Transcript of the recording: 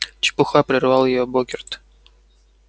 чепуха прервал её богерт